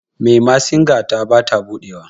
memasinga ta ba ta buɗewa